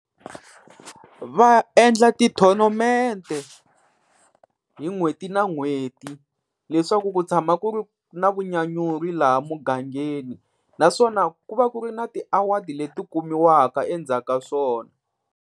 Va endla ti-tornament-e hi n'hweti na n'hweti, leswaku ku tshama ku ri na vunyanyuri laha mugangeni. Naswona ku va ku ri na ti-award-i leti kumiwaka endzhaka swona.